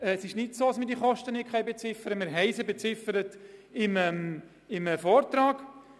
Wie im Vortrag erwähnt, können die Kosten beziffert werden.